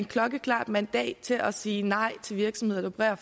klokkeklart mandat til at sige nej til virksomheder der